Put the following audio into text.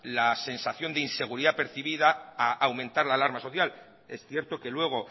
la sensación de inseguridad percibida a aumentar la alarma social es cierto que luego